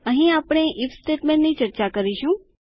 અહીં આપણે ઇફ સ્ટેટમેન્ટની ચર્ચા કરીશું